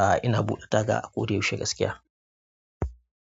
Ah ina buɗe taga a ko da yaushe gaskiya.